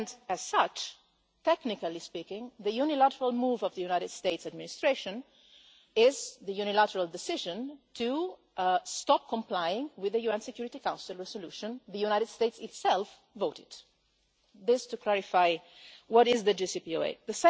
As such, technically speaking, the unilateral move of the United States Administration is the unilateral decision to stop complying with the UN Security Council resolution the United States itself voted. That is just to clarify what the JCPOA is.